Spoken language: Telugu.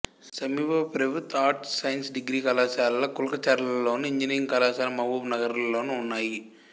సమీప ప్రభుత్వ ఆర్ట్స్ సైన్స్ డిగ్రీ కళాశాల కుల్కచర్లలోను ఇంజనీరింగ్ కళాశాల మహబూబ్ నగర్లోనూ ఉన్నాయి